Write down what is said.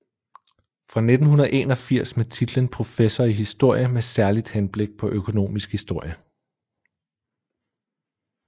Fra 1981 med titlen professor i historie med særligt henblik på økonomisk historie